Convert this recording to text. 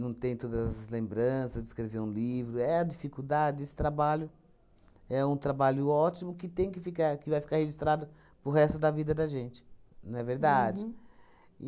não tem todas as lembranças de escrever um livro, é a dificuldade, esse trabalho é um trabalho ótimo que tem que ficar, que vai ficar registrado para o resto da vida da gente, não é verdade?